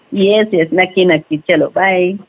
हो yes yes नक्कीच नक्की